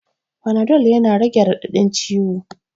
Fanadol yana rage raɗaɗin ciwo